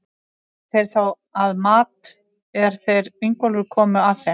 Voru þeir þá að mat, er þeir Ingólfur komu að þeim.